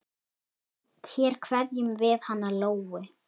Hér kveðjum við hana Lóu.